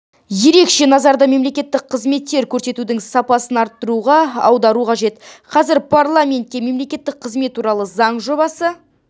ерекше назарды мемлекеттік қызметтер көрсетудің сапасын арттыруға аудару қажет қазір парламентке мемлекеттік қызмет туралы заң жобасы